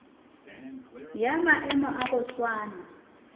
ya maemo a go swana